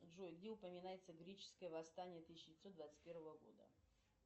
джой где упоминается греческое восстание тысяча девятьсот двадцать первого года